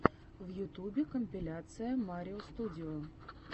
в ютубе компиляция марио студио